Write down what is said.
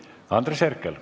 Andres Herkel.